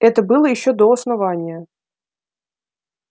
это было ещё до основания